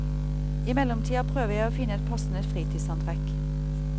I mellomtida prøver jeg å finne et passende fritidsantrekk.